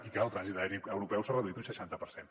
i que el trànsit aeri europeu s’ha reduït un seixanta per cent